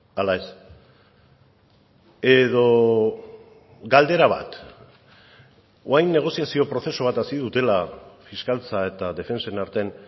ala ez edo galdera bat orain negoziazio prozesu bat hasi dutela fiskaltza eta defentsen artean